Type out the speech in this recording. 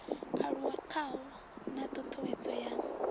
aluwa khawo na ṱhuṱhuwedzo ya